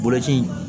Kɔlɔsi